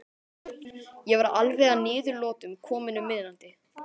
Ég var alveg að niðurlotum kominn um miðnætti.